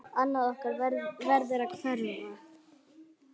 Annað okkar verður að hverfa.